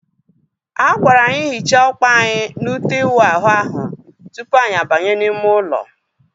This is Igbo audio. A gwara anyị hichaa ọkpa anyị na ute iwu ahụ ahu tupu anyị abanye n'ime ụlọ